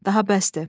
Daha bəsdir.